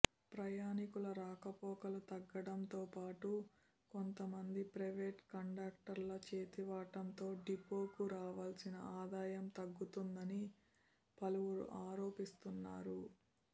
ప్రయాణికుల రాకపోకలు తగ్గడంతోపాటు కొంతమంది ప్రైవేటు కండక్టర్ల చేతివాటంతో డిపోకు రావాలి్సన ఆదాయం తగ్గుతుందని పలువురు ఆరోపిస్తున్నారు